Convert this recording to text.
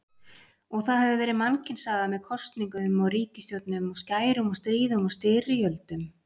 Og það hefur verið mannkynssaga með kosningum og ríkisstjórnum og skærum og stríðum og styrjöldum.